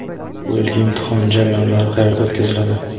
Bu yilgi imtihon jarayonlari qayerda o‘tkaziladi?.